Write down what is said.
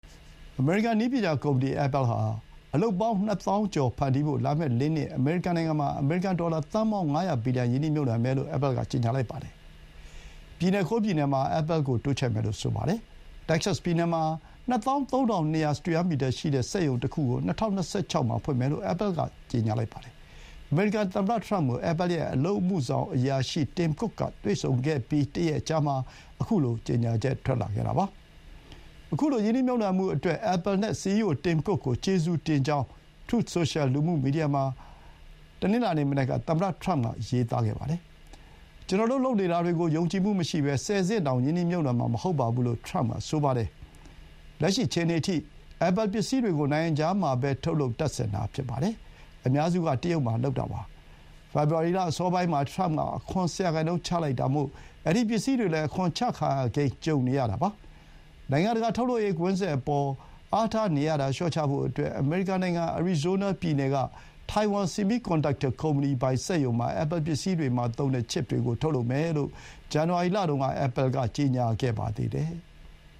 အမေရိကန် နည်းပညာကုမ္ပဏီ အက်ပဲလ်ဟာ အလုပ်ပေါင်း ၂၀,၀၀၀ ကျော် ဖန်တီးဖို့ လာမယ့် ၄ နှစ် အမေရိကန်နိုင်ငံမှာ အမေရိကန် ဒေါ်လာ သန်းပေါင်း ၅၀၀ ဘီလီယံ ရင်းနှီးမြှုပ်နှံမယ်လို့ Apple က ကြေညာပါတယ်။ ပြည်နယ် ၉ ပြည်နယ်မှာ Apple ကို တိုးချဲ့မယ်လို့ ဆိုပါတယ်။ တက္ကဆက်စ်ပြည်နယ်မှာ ၂၃,၂၀၀ စတုရန်းမီတာရှိတဲ့ စက်ရုံတခုကို ၂၀၂၆ မှာ ဖွင့်မယ်လို့ Apple က ပြောပါတယ်။ အမေရိကန် သမ္မတ ထရမ့်ကို Apple ရဲ့ အလုပ်အမှုဆောင်အရာရှိ Tim Cook က တွေ့ဆုံခဲ့ပြီး တရက်အကြာမှာ ခုလို ကြေညာချက် ထွက်လာခဲ့တာပါ။ ခုလို ရင်းနှီးမြှုပ်နှံမှုအတွက် Apple နဲ့ စီအီးအို Tim Cook ကို ကျေးဇူးတင်ကြောင်း Truth Social လူမှုမီဒီယာ စာမျက်နှာမှာ တနင်္လာနေ့ မနက်က သမ္မတထရမ့်က ရေးပါတယ်။ "ကျနော်တို့ လုပ်နေတာတွေကို ယုံကြည်မှုမရှိဘဲ ဆယ်ဆင့်တောင် ရင်းနှီးမြှုပ်နှံမှာ မဟုတ်ပါဘူ" လို့ ထရမ့်က ဆိုပါတယ်။ လက်ရှိအခြေအနေအထိ Apple ပစ္စည်းတွေကို နိုင်ငံခြားမှာပဲ ထုတ်လုပ် တပ်ဆင်တာ ဖြစ်ပါတယ်။ အများစုက တရုတ်မှာ လုပ်တာပါ။ ဖေဖော်ဝါရီလ အစောပိုင်းမှာ ထရမ့်က အခွန် ၁၀% တိုးချလိုက်တာမို့ အဲဒီ ပစ္စည်းတွေလည်း အခွန်တိုးချခံရကိန်း ကြုံနေရတာပါ။ နိုင်ငံတကာ ထုတ်လုပ်ရေးကွင်းဆက်အပေါ် အားထားနေရတာ လျှော့ချဖို့အတွက် အမေရိကန်နိုင်ငံ အရီဇိုးနားပြည်နယ်က ထိုင်ဝမ် ဆီမီးကွန်ဒပ်တာကုမ္ပဏီပိုင် စက်ရုံမှာ Apple ပစ္စည်းတွေမှာ သုံးတဲ့ ချစ်ပ်တွေကို ထုတ်လုပ်မယ်လို့ ဇန်နဝါရီလမှာ Apple က ကြေညာခဲ့ပါတယ်။